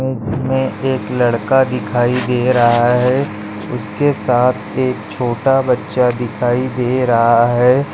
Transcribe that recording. Image मे एक लड़का दिखाई दे रहा है उसके साथ एक छोटा बच्चा दिखाई दे रहा है।